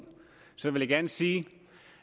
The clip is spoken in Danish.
så vil jeg gerne sige